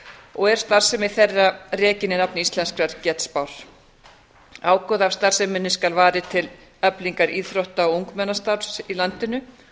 og er starfsemi þeirra rekin í nafni íslenskrar getspár ágóða af starfseminni skal varið til eflingar íþrótta og ungmennastarfi í landinu